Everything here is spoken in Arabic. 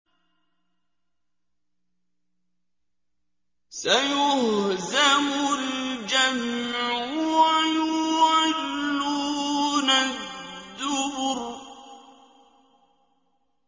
سَيُهْزَمُ الْجَمْعُ وَيُوَلُّونَ الدُّبُرَ